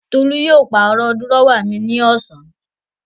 Tolú yóò pàrọ̀ dúrọ́à mi ní ọ̀sán.